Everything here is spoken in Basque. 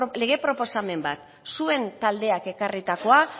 lege proposamen bat zuen taldeak ekarritakoa